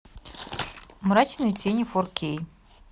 мрачные тени фор кей